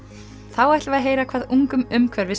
þá ætlum við heyra hvað ungum